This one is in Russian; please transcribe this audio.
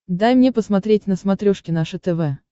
дай мне посмотреть на смотрешке наше тв